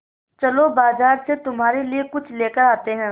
चलो बाज़ार से तुम्हारे लिए कुछ लेकर आते हैं